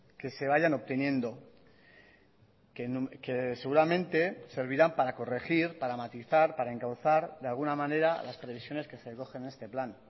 que se vayan obteniendo que seguramente servirán para corregir para matizar para encauzar de alguna manera las previsiones que se recogen en este plan